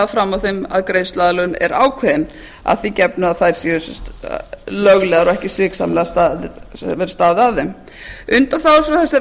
fram að því að greiðsluaðlögun er ákveðin að því gefnu að þær séu löglegar og ekki sviksamlega staðið að þeim undanþága frá þessari